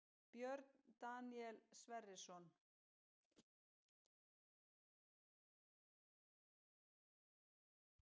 Björn Daníel Sverrisson